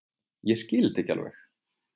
Ég skil þetta ekki alveg.